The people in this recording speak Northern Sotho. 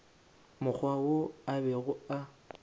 mokgwa wo a bego a